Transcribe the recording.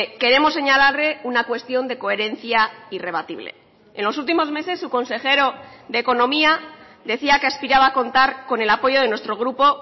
queremos señalarle una cuestión de coherencia irrebatible en los últimos meses su consejero de economía decía que aspiraba a contar con el apoyo de nuestro grupo